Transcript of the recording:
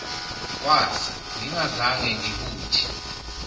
kwasa ngingazange ngibuthi